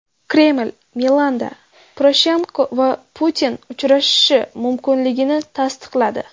Kreml Milanda Poroshenko va Putin uchrashishi mumkinligini tasdiqladi.